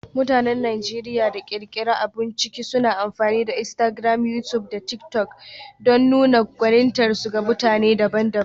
Mutanen Najeriya da ke ƙirƙirar abun ciki suna amfani da Instagram, YouTube, da TikTok don nuna gwanintarsu ga mutane daban-daban.